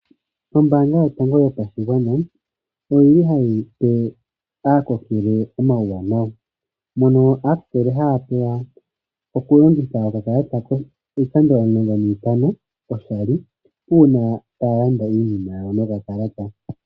Ombanga yotango yopashigwana oyili hayipe aakokele omauwanawa. Mono aakokele haya pewa okulongitha okakalata iikando omulongo nantano oshali uuna taya landa iinima yawo noka kalata.